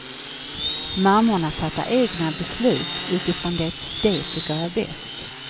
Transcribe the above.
Mammorna fattar egna beslut utifrån det de tycker är bäst.